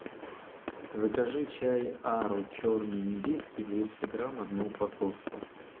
закажи чай ару черный индийский двести грамм одну упаковку